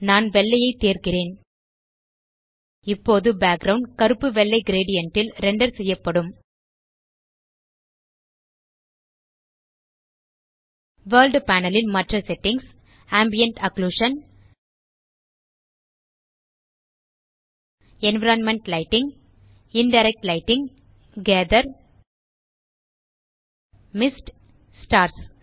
நான் வெள்ளையைத் தேர்கிறேன் இப்போது பேக்கிரவுண்ட் கருப்பு வெள்ளை கிரேடியன்ட் ல் ரெண்டர் செய்யப்படும் வர்ல்ட் பேனல் ன் மற்ற settings ambient occlusion environment lighting indirect lighting gather mist stars